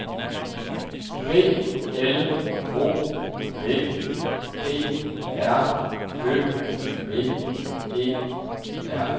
B L O D P R Ø V E R